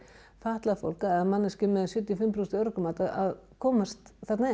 fatlað fólk eða manneskju með sjötíu og fimm prósent örorkumat að koamst þarna